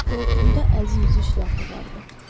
Qoltuğumda əzik üzü şlyapa vardı.